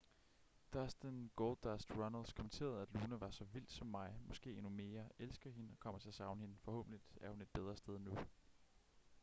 dustin goldust runnels kommenterede at luna var så vild som mig måske endnu mere elsker hende og kommer til at savne hende forhåbentlig er hun et bedre sted nu